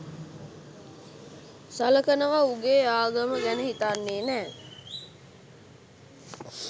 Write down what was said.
සලකනව උගේ ආගම ගැන හිතන්නෙ නෑ.